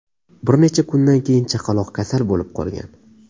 Bir necha kundan keyin chaqaloq kasal bo‘lib qolgan.